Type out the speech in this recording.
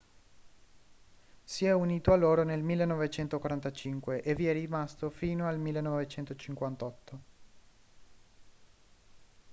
si è unito a loro nel 1945 e vi è rimasto fino al 1958